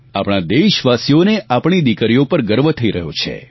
આપણે દેશવાસીઓને આપણી દિકરીઓ પર ગર્વ થઈ રહ્યો છે